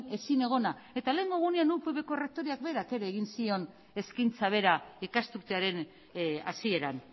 ezinegona eta lehengo egunean upvko erretoreak berak ere egin zion eskaintza bera ikasturtearen hasieran